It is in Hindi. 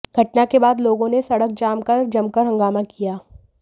घटना के बाद लोगों ने सड़क जाम कर जमकर हंगामा किया